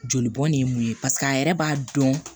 Joli bɔn ne ye mun ye paseke a yɛrɛ b'a dɔn